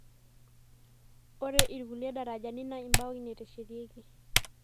Ore irkulie darajani naa imbaoi eteshetieki.